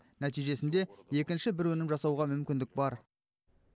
нәтижесінде екінші бір өнім жасауға мүмкіндік бар